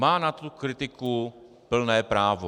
Má na tuto kritiku plné právo.